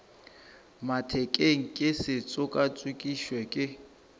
mathekeng ke se tšokatšokišwe ke